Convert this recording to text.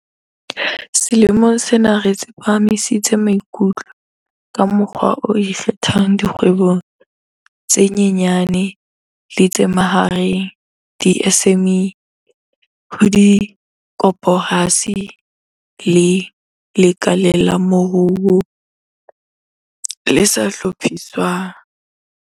Selemong sena re tsepamisitse maikutlo ka mokgwa o ikgethang dikgwebong tse nyenyane le tse mahareng di-SMME, ho dikoporasi le lekaleng la moruo le sa hlophiswang.